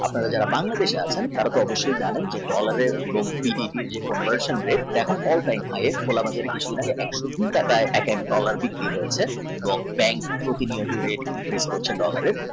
আপনার যারা Bangladesh এ আছেন তারা অবশই জানেন যে dollar এর এবং BDT র conversion rate এখন all time high একশ নয় টাকায় এক এক dollar বিক্রি হচ্ছে এবং bank প্রতিনিয়ত rate কমতি করছে।